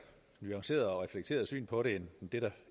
nuanceret og reflekteret syn på det end det der